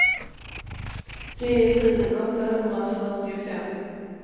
tio tusen åttahundrafyrtiofem